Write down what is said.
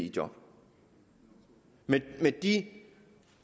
i job med de